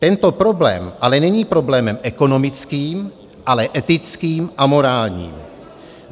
Tento problém ale není problémem ekonomickým, ale etickým a morálním.